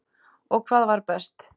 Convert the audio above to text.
Og hvað var best.